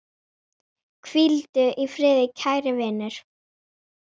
Hvíldu í friði kæri vinur.